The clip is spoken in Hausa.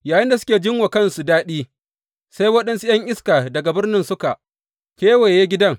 Yayinda suke jin wa kansu daɗi, sai waɗansu ’yan iska daga birnin suka kewaye gidan.